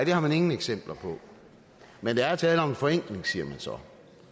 det har man ingen eksempler på men der er tale om en forenkling siger man så